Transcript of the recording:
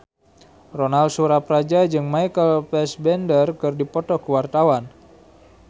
Ronal Surapradja jeung Michael Fassbender keur dipoto ku wartawan